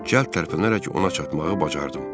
Cəld tərpənərək ona çatmağı bacardım.